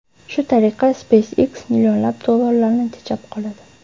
Shu tariqa SpaceX millionlab dollarlarni tejab qoladi.